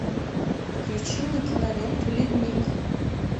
включи мне киноленту ледник